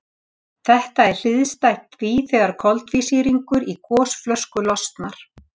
Þetta er hliðstætt því þegar koltvísýringur í gosflösku losnar.